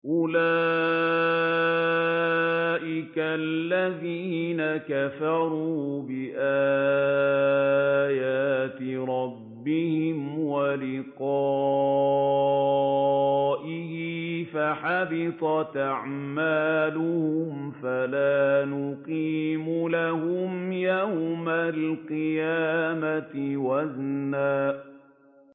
أُولَٰئِكَ الَّذِينَ كَفَرُوا بِآيَاتِ رَبِّهِمْ وَلِقَائِهِ فَحَبِطَتْ أَعْمَالُهُمْ فَلَا نُقِيمُ لَهُمْ يَوْمَ الْقِيَامَةِ وَزْنًا